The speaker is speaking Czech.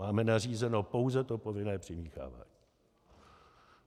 Máme nařízeno pouze to povinné přimíchávání.